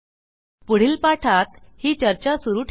पुढील पाठात ही चर्चा सुरू ठेवू